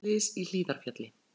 Þrjú slys í Hlíðarfjalli